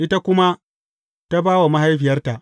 Ita kuma ta ba wa mahaifiyarta.